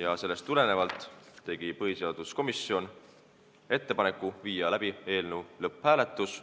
ja sellest tulenevalt teeb põhiseaduskomisjon ettepaneku viia läbi eelnõu lõpphääletus.